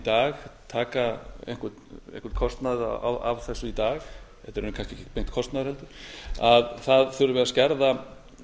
dag taka einhvern kostnað af þessu í dag þetta er kannski ekki beinn kostnaður heldur að það þurfi að skerða